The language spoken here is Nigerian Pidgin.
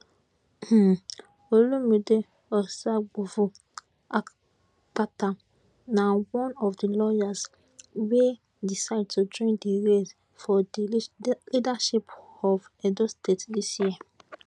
um olumide osaigbovo akpata na one of di lawyers wey decide to join di race for di leadership of edo state dis year